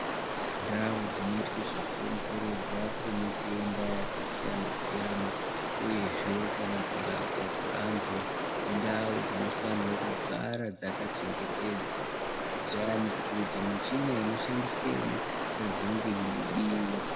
Ndau dzinoitwe zvekuongororwa kwemitenda yakasiyana siyana uyezve kana kurapwa kwevanthu indau dzinofanire kugara dzakachengetedzwa, kuti michina inenge yeishandiswemwo isazenge yeibiwa.